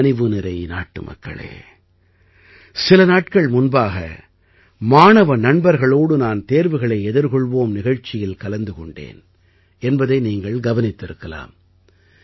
என் கனிவுநிறை நாட்டுமக்களே சில நாட்கள் முன்பாக மாணவ நண்பர்களோடு நான் தேர்வுகளை எதிர்கொள்வோம் நிகழ்ச்சியில் கலந்து கொண்டேன் என்பதை நீங்கள் கவனித்திருக்கலாம்